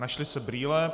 Našly se brýle.